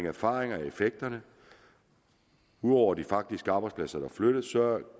erfaringen med effekterne ud over de faktiske arbejdspladser der flyttes